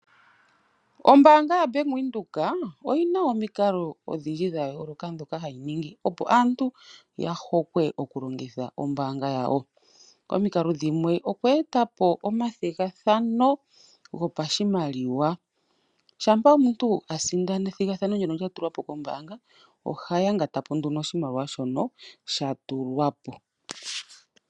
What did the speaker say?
Ombaanga ya Bank Windhoek oyi na omikalo odhindji dha yooloka dhoka hadhi ningi, opo aantu ya hokwe okulongitha ombaanga yawo. Omikalo dhimwe oku etapo omathigathano go pashimaliwa, shampa omuntu a sindana esindano ndoka lya tulwapo kombaanga, oha yangatapo nduno oshimaliwa shono sha tulwapo.